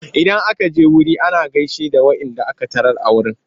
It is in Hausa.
Idan aka je wuri ana gaishe da waɗanda aka tarar a wurin.